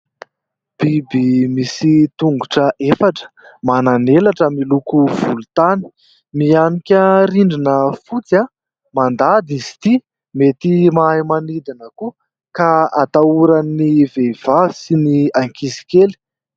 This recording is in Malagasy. Biby misy tongotra efatra manan'elatra miloko volontany mihanika rindrina fotsy a ! Mandady izy ity, mety mahay manidana koa ka atahoran'ny vehivahy sy ny ankizy kely.